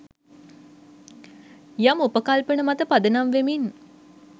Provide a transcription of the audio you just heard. යම් උපකල්පන මත පදනම් වෙමින්